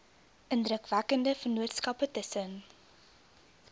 indrukwekkende vennootskappe tussen